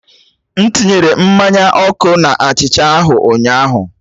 M tinyere mmanya ọkụ na achicha ahụ ụnyaahụ.